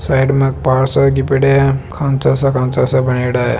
Side में पार सा पड्या है खांचा सा खांचा सा बण्योड़ा है।